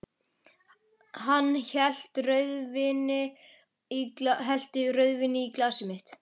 Hann hellti rauðvíni í glasið mitt.